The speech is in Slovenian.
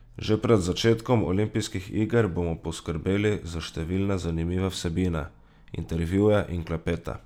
Že pred začetkom olimpijskih iger bomo poskrbeli za številne zanimive vsebine, intervjuje in klepete.